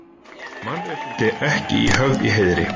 Mannréttindi ekki höfð í heiðri